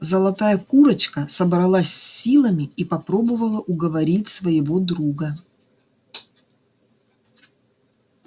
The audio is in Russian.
золотая курочка собралась с силами и попробовала уговорить своего друга